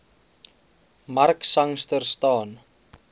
mark sangster staan